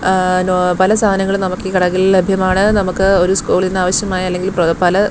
ആ നോ പല സാധനങ്ങളും നമുക്കീ കടകളിൽ ലഭ്യമാണ് നമുക്ക് ഒരു സ്കൂളിന് ആവശ്യമായ അല്ലെങ്കിൽ പല--